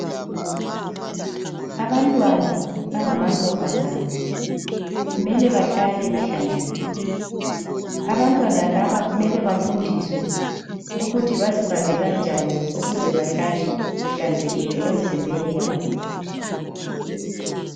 Abantwana abangamantombazana kumele bahlale behlanzekile, abantwana laba kumele bafundiswe ukuthi baziphathe kanjani ukuze bahlale behlanzekile emizimbeni yabo.